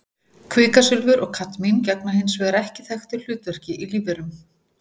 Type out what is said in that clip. Kvikasilfur og kadmín gegna hins vegar ekki þekktu hlutverki í lífverum.